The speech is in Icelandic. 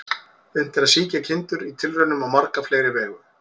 Unnt er að sýkja kindur í tilraunum á marga fleiri vegu.